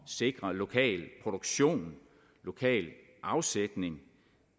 sikre lokal produktion lokal afsætning